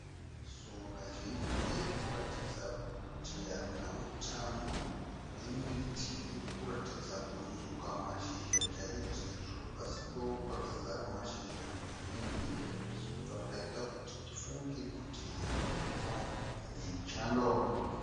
Sora zhinji rinoratidza kuti harina utano, nemiti iri kuratidza kuzuka mashizha chaizvo sezvo pasi pawo pakazara mashizha mazhinji, zvichibva zvaita kuti tifunge kuti inguva yechando.